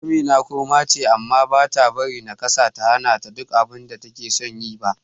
Amina kurma ce, amma bata bari nakasarta ta hanata yin duk abinda takeson yi ba.